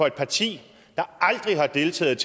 et parti der aldrig har deltaget